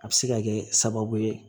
A bɛ se ka kɛ sababu ye